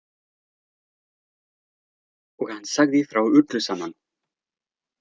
Og hann sagði frá öllu saman.